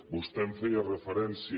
vostè em feia referència